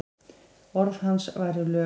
Orð hans væru lög.